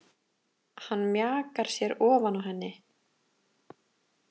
Hann mjakar sér ofan á henni.